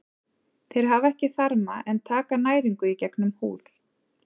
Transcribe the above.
Þeir hafa ekki þarma en taka næringu í gegnum húð.